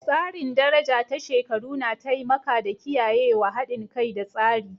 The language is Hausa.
Tsarin daraja ta shekaru na taimaka da kiyayewa haɗin kai da tsari.